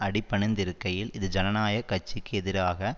அடிபணிந்திருக்கையில் இது ஜனநாயக கட்சிக்கு எதிராக